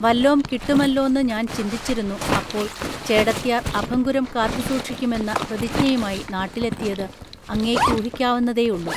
വല്ലോം കിട്ടുമല്ലോന്ന് ഞാൻചിന്തിച്ചിരുന്നു അപ്പോൾ ചേടത്ത്യാർ അഭംഗുരം കാത്തുസൂക്ഷിക്കുമെന്ന പ്രതിജ്ഞയുമായി നാട്ടിലെത്തിയത് അങ്ങേയ്ക്കൂഹിക്കാവുന്നതേയുള്ളൂ